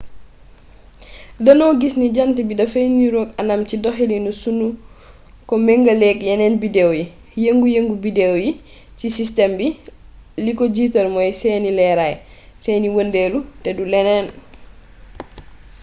danoo gis ne jànt bi dafay niroog anam ci doxalin sunu ko mengaleek yeneen bideew yi yëngu yëngu bideew yi ci sistem bi li ko jiital mooy seeni leeraay seeni wëndeelu te du leneen